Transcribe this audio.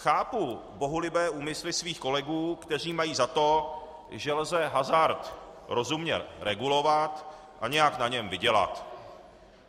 Chápu bohulibé úmysly svých kolegů, kteří mají za to, že lze hazard rozumně regulovat a nějak na něm vydělat.